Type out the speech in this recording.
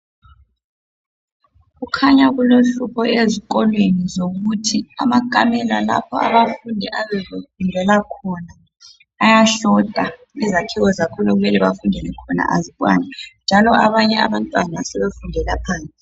Kukhanya kulohlupho ezikolweni zokuthi amakamela lapho abafundi ebebefundela khona ayashota, izakhiwo zakhona okumele bafundele khona azikwani, njalo abanye abantwana sebefundela phande.